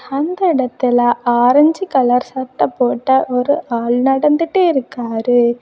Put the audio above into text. அந்த இடத்தில orange colour சட்டை போட்ட ஒரு ஆள் நடந்துட்டு இருக்காரு.